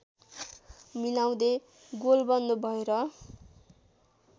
मिलाउँदै गोलबन्द भएर